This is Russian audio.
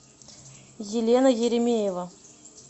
елена еремеева